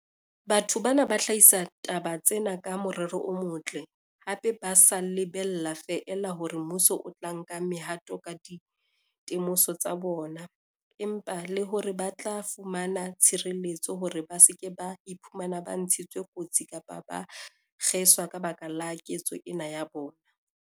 Batho bana ba hlahisa taba tsena ka morero o motle, hape ba sa lebella feela hore mmuso o tla nka mehato ka dite moso tsa bona, empa le hore ba tla fumana tshireletso hore ba se ke ba iphumana ba ntshitswe kotsi kapa ba kgeswa ka baka la ketso ena ya bona.